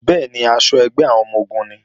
Bẹ́ẹ̀ni, aṣọ ẹgbẹ́ àwọn ọmọ-ogun nìí